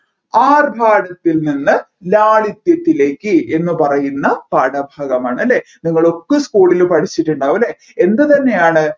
ആർഭാടത്തിൽ നിന്ന് ലാളിത്യത്തിലേക്ക് എന്ന് പറയുന്ന പാഠഭാഗമാണ് അല്ലെ നിങ്ങളൊക്കെ school ൽ പഠിച്ചിട്ടുണ്ടാവുമല്ലേ എന്തുതന്നെയാണ്